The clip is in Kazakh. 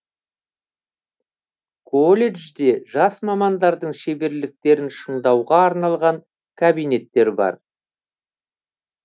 колледжде жас мамандардың шеберліктерін шыңдауға арналған кабинеттер бар